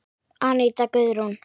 Aníta Guðrún.